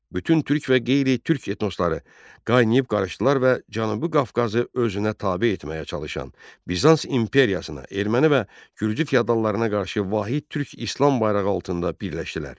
Bütün türk və qeyri-türk etnosları qaynayıb qarışdılar və Cənubi Qafqazı özünə tabe etməyə çalışan Bizans İmperiyasına, erməni və gürcü feodallarına qarşı vahid türk İslam bayrağı altında birləşdilər.